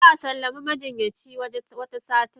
Zaa sallami majinyacin Wata satin.